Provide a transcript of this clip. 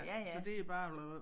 Så det er bare